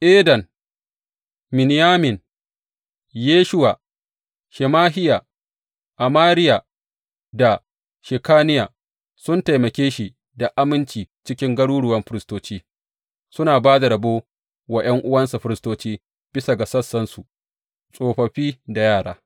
Eden, Miniyamin, Yeshuwa, Shemahiya, Amariya da Shekaniya sun taimake shi da aminci a cikin garuruwan firistoci, suna ba da rabo wa ’yan’uwansu firistoci bisa ga sassansu, tsofaffi da yara.